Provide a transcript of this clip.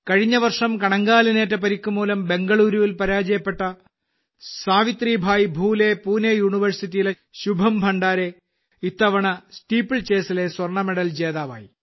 കഴിഞ്ഞ വർഷം കണങ്കാലിനേറ്റ പരിക്ക് മൂലം ബംഗളൂരുവിൽ പരാജയപ്പെട്ട സാവിത്രിഭായ് ഫുലെ പൂനെ സർവകലാശാലയിലെ ശുഭം ഭണ്ഡാരെ ഇത്തവണ സ്റ്റീപ്പിൾ ചേസിലെ സ്വർണ മെഡൽ ജേതാവായി